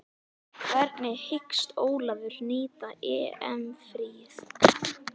Þess í stað áttum við að koma beinustu leið heim.